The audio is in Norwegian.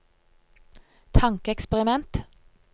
tankeeksperiment